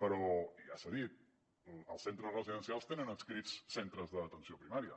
però i ja s’ha dit els centres residencials tenen adscrits centres d’atenció primària